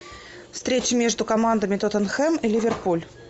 встреча между командами тоттенхэм и ливерпуль